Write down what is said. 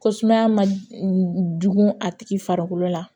Ko sumaya ma dugun a tigi farikolo la